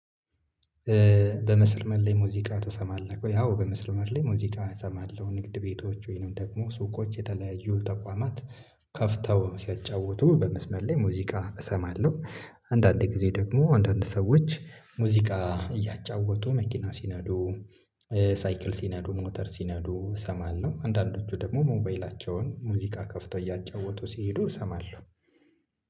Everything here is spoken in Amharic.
በመስመር ላይ ሙዚቃ ትሰማለህ ወይ? አዎ በመስመር ላይ ሙዚቃ እሰማለሁ ንግድ ቤቶች ወይንም ደግሞ ሱቆች የተለያዩ ተቋማት ከፍተው ሲያጫውቱ በመስመር ላይ ሙዚቃ እሰማለሁ። አንዳንድ ጊዜ ደግሞ አንዳንድ ሰዎች ሙዚቃ እያጫወቱ መኪና ሲነዱ። ሳይክል ሲነዱ ሞተር ሲነዱ እሰማለሁ አንዳንዶቹ ደግሞ ሞባይላቸውን ሙዚቃ ከፍተው እያጫወቱ ሲሄዱ እሰማለሁ